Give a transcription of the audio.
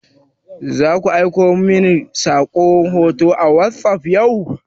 Zaku aiko mani hoto a wasop yau?